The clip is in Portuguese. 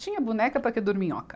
Tinha boneca para que dorminhoca.